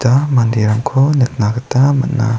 ua manderangko nikna gita man·a.